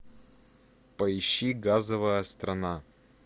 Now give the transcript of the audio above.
поищи газовая страна